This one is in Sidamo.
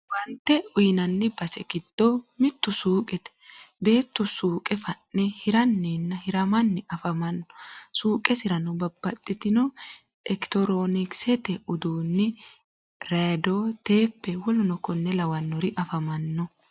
Owaante uyinanni base giddo mittu suuqete. Beettu suuqe fa'ne hiranninna hiramanni afamanno. Suuqesirano babbaxxitino ectronikisete uduunni radio tape wkl afamanno.